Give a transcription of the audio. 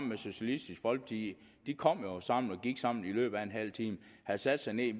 med socialistisk folkeparti de kom jo sammen og gik sammen efter en halv time havde sat sig ned